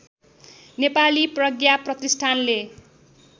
नेपाली प्रज्ञा प्रतिष्ठानले